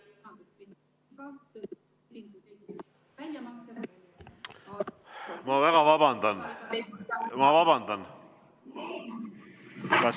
Ma väga vabandan.